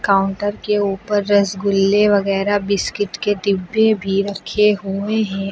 Counter के ऊपर रसगुल्ला वगैरा बिस्कुट के डिब्बे भी रखे हुए हैं।